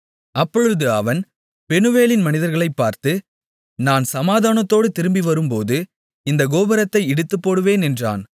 அப்பொழுது அவன் பெனூவேலின் மனிதர்களைப் பார்த்து நான் சமாதானத்தோடு திரும்பிவரும்போது இந்தக் கோபுரத்தை இடித்துப்போடுவேன் என்றான்